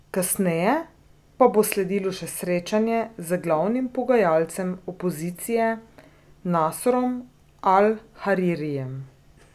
Kasneje pa bo sledilo še srečanje z glavnim pogajalcem opozicije Nasrom al Haririjem.